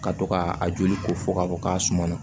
Ka to ka a joli ko fɔ k'a bɔ k'a suma na